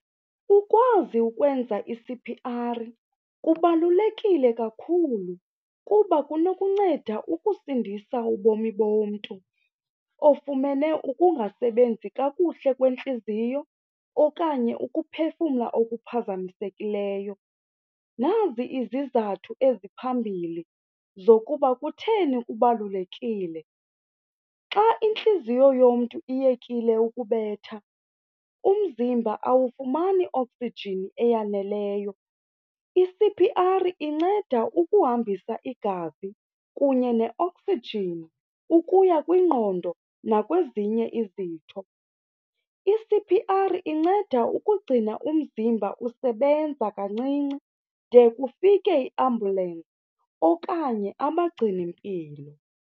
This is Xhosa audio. Ukwazi ukwenza i-C_P_R kubalulekile kakhulu kuba kunokunceda ukusindisa ubomi bomntu ofumene ukungasebenzi kakuhle kwentliziyo okanye ukuphefumla okuphazamisekileyo. Nazi izizathu eziphambili zokuba kutheni kubalulekile. Xa intliziyo yomntu iyekile ukubetha, umzimba awufumani oksijini eyaneleyo. I-C_P_R inceda ukuhambisa igazi kunye neoksijini ukuya kwingqondo nakwezinye izinto. I-C_P_R inceda ukugcina umzimba usebenza kancinci de kufike iambulensi okanye abagcinimpilo.